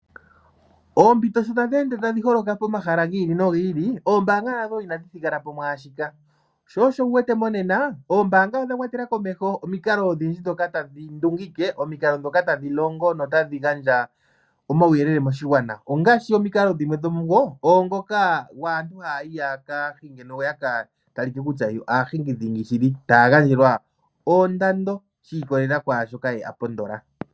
Oompito sho tadhi ende tadhi holoka pomahala gi ili nogi ili, ombaanga nadho onadhi thigala po mwaashika, sho osho uwete monena, ombaanga odha kwatela komeho omikalo odhindji dhoka tadhi ndungike omikalo dhoka tadhi longo notadhi gandja omauyelele moshigwana. Ongaashi omikalo dhimwe dhomuyo, owo mboka gwaantu taayi ya kahinge, yo yaka talike kutya yo aahingi dhingi shili ,taa gandjelwa oondando, shi ikololela ye kwaashoka a pondola.